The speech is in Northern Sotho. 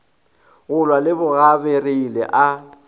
go lwa le bogabariele a